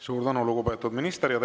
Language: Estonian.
Suur tänu, lugupeetud minister!